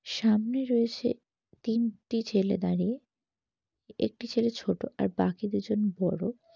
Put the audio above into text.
সামনে রয়েছে তিনটি ছেলে দাঁড়িয়ে। একটি ছেলে ছোট আর বাকি দুজন বড়।